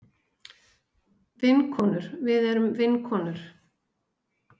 Vinkonur við erum vinkonur.